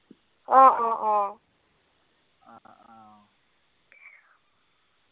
অ, অ, অ।